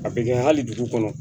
A bɛ kɛ hali dugu kɔnɔ